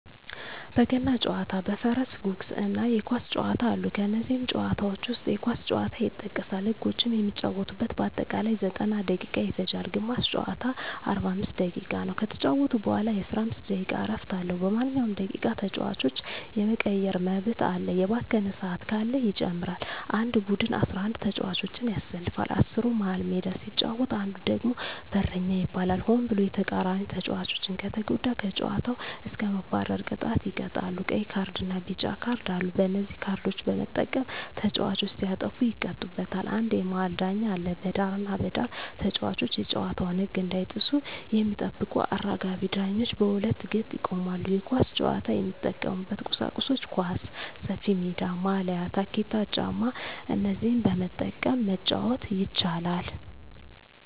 በገና ጨዋታ በፈረስ ጉግስ እና የኳስ ጨዋታ አሉ ከነዚህም ጨዋታዎች ዉስጥ የኳስ ጨዋታ ይጠቀሳል ህጎችም የሚጫወቱበት በአጠቃላይ 90ደቂቃ ይፈጃል ግማሽ ጨዋታ 45 ደቂቃ ነዉ ከተጫወቱ በኋላ የ15 ደቂቃ እረፍት አለዉ በማንኛዉም ደቂቃ ተጫዋች የመቀየር መብት አለ የባከነ ሰአት ካለ ይጨመራል አንድ ቡድን 11ተጫዋቾችን ያሰልፋል አስሩ መሀል ሜዳ ሲጫወት አንዱ ደግሞ በረኛ ይባላል ሆን ብሎ የተቃራኒተጫዋቾችን ከተጎዳ ከጨዋታዉ እስከ መባረር ቅጣት ይቀጣሉ ቀይ ካርድና ቢጫ ካርድ አሉ በነዚህ ካርዶች በመጠቀም ተጫዋቾች ሲያጠፉ ይቀጡበታል አንድ የመሀል ዳኛ አለ በዳርና በዳር ተጫዋቾች የጨዋታዉን ህግ እንዳይጥሱ የሚጠብቁ አራጋቢ ዳኞች በሁለት ገጥ ይቆማሉ የኳስ ጫዋች የሚጠቀሙበት ቁሳቁሶች ኳስ፣ ሰፊሜዳ፣ ማልያ፣ ታኬታ ጫማ እነዚህን በመጠቀም መጫወት ይቻላል